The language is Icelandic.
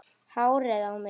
Hárið á mér?